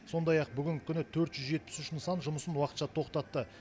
сондай ақ бүгінгі күні төрт жүз жетпіс үш нысан жұмысын уақытша тоқтатты